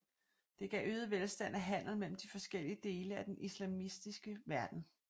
Det gav øget velstand af handel mellem de forskellige dele af den islamiske verden